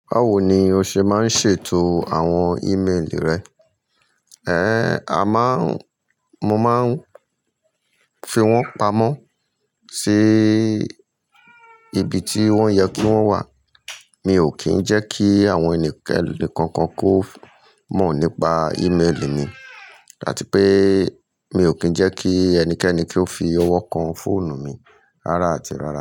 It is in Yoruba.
Báwo ni o ṣe máa ń ṣètò àwọn ìméèlì rẹ? Ẹ̀, a má ń, mo máa ń fi wọ́n pamọ́ sí ibi tí wọ́n yẹ kí wọ́n wà. Mi ò kí ń jẹ́ kí àwọn ẹnikẹ́ni kankan kó mọ̀ nípa ìméèlì mi, àti pé mi ò kí ń jẹ́ kí ẹnikẹ́ni kí ó fi ọwọ́ kan fóònù mi rárá àti rárá.